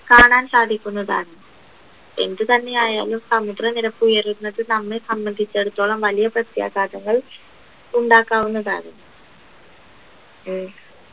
കാണാൻ സാധിക്കുന്നതാണ് എന്തുതന്നെയായാലും സമുദ്രനിരപ്പ് ഉയരുന്നത് നമ്മെ സംബദ്ധിച്ചിടത്തോളം വലിയ പ്രഖ്യാഘാതങ്ങൾ ഉണ്ടാക്കാവുന്നതാണ് ഉം